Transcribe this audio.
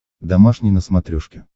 домашний на смотрешке